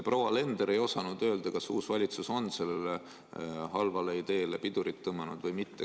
Proua Alender ei osanud öelda, kas uus valitsus on sellele halvale ideele pidurit tõmmanud või mitte.